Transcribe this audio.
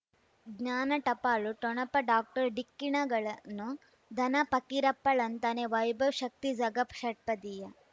ಜ್ಞಾನ ಟಪಾಲು ಠೊಣಪ ಡಾಕ್ಟರ್ ಢಿಕ್ಕಿ ಣಗಳನು ಧನ ಫಕೀರಪ್ಪ ಳಂತಾನೆ ವೈಭವ್ ಶಕ್ತಿ ಝಗಾ ಷಟ್ಪದಿಯ